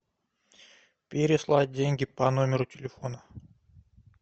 переслать деньги по номеру телефона